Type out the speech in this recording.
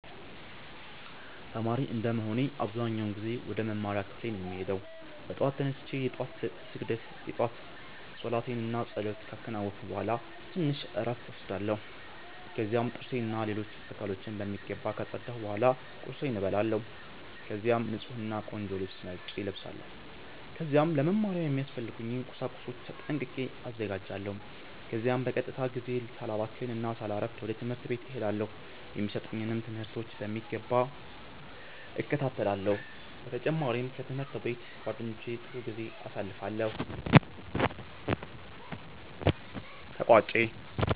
ተማሪ እንደመሆኔ አብዛኛውን ጊዜ ወደ መማሪያ ክፍሌ ነው የምሄደው። በጠዋት ተነስቼ የ ጧት ስግደት እና ፀሎቴን ካከናወንኩ ቡሃላ ትንሽ እረፍት እወስዳለሁ። ከዚያም ጥርሴን እና ሌሎች አካሎቼን በሚገባ ካፀዳሁ ቡሃላ ቁርሴን እበላለሁ። ከዚያም ንፁህ እና ቆንጆ ልብስ መርጬ እለብሳለው። ከዚያም ለ መማሪያ የሚያስፈልጉኝን ቁሳቁሶች ጠንቅቄ አዘጋጃለሁ። ከዚያም በቀጥታ ጊዜዬን ሳላባክን እና ሳላሰፍድ ወደ ትምህርት ቤት እሄዳለው። የሚሰጡኝንም ትምህርቶች በሚገባ እከታተላለሁ። በ ተጨማሪም ከ ትምህርት ቤት ጓደኞቼ ጋ ጥሩ ጊዜ አሳልፋለሁ።